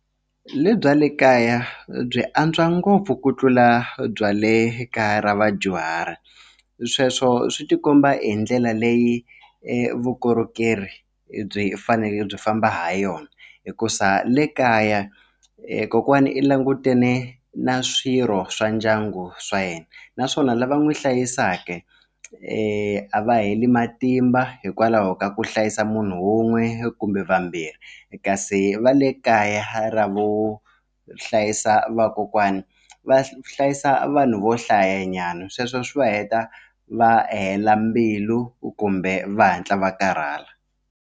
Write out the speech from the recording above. Le bya le kaya byi antswa ngopfu ku tlula bya le kaya ra vadyuhari sweswo swi tikomba hi ndlela leyi vukorhokeri byi fanele byi famba ha yona hikuza le kaya kokwana i langutane na swirho swa ndyangu swa yena naswona lava n'wi hlayisaka a va heli matimba hikwalaho ka ku hlayisa munhu wun'we kumbe vambirhi kasi va le kaya ra vo hlayisa vakokwani va hlayisa vanhu vo hlayanyana sweswo swi va heta va hela mbilu kumbe va hatla va karhala.